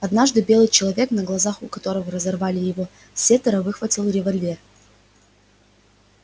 однажды белый человек на глазах у которого разорвали его сеттера выхватил револьвер